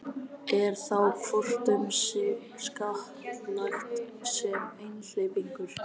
Er þá hvort um sig skattlagt sem einhleypingur.